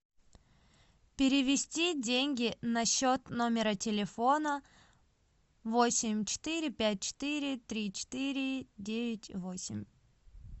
перевести деньги на счет номера телефона восемь четыре пять четыре три четыре девять восемь